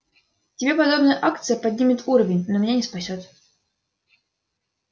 тебе подобная акция поднимет уровень но меня не спасёт